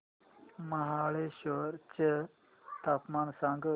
महाबळेश्वर चं तापमान सांग